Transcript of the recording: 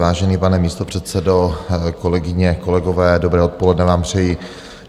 Vážený pane místopředsedo, kolegyně, kolegové, dobré odpoledne vám přeji.